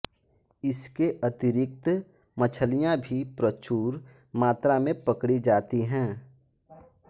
इसके अतिरिक्त मछलियाँ भी प्रचुर मात्रा में पकड़ी जाती हैं